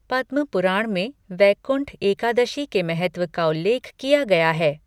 पद्म पुराण में वैकुंठ एकादशी के महत्व का उल्लेख किया गया है।